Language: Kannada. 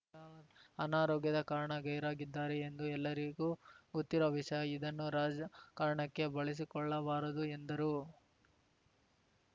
ಅನಾರೋಗ್ಯದ ಕಾರಣ ಗೈರಾಗಿದ್ದಾರೆ ಎಂದು ಎಲ್ಲರಿಗೂ ಗೊತ್ತಿರುವ ವಿಷಯ ಇದನ್ನು ರಾಜಕಾರಣಕ್ಕೆ ಬಳಸಿಕೊಳ್ಳಬಾರದು ಎಂದರು